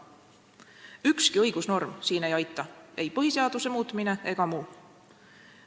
Ükski õigusnorm siin ei aita, ei põhiseaduse muutmine ega miski muu.